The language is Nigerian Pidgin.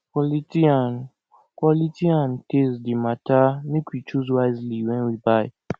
quality and quality and taste dey matter make we choose wisely wen we buy